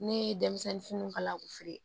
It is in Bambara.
Ne ye denmisɛnnin fini kala u fɛ ye